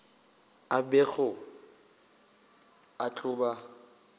a bego a tlo ba